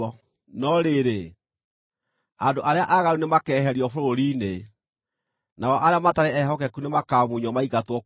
no rĩrĩ, andũ arĩa aaganu nĩmakeeherio bũrũri-inĩ, nao arĩa matarĩ ehokeku nĩmakamunywo maingatwo kuo.